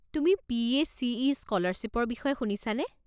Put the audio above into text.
তুমি পি.এ.চি.ই. স্ক'লাৰশ্বিপৰ বিষয়ে শুনিছানে?